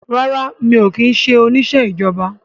Rárá mi ò kí ń ṣe oníṣẹ́ ìjọba